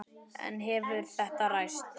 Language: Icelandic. En hefur þetta ræst?